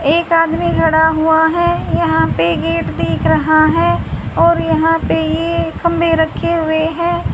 एक आदमी खड़ा हुआ है यहां पे गेट दिख रहा है और यहां पे ये खंभे रखे हुए है।